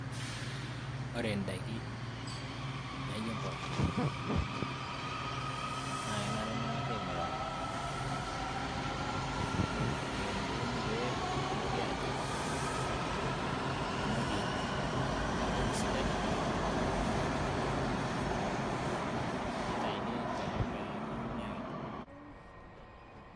ore indaiki naijo impoosho naa kenare neng'asi aing'uraa eton etu euni pee edoli ajo etunoki empeku sidainitayuni intorrok pee meuni ake.